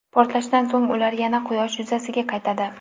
Portlashdan so‘ng ular yana Quyosh yuzasiga qaytadi.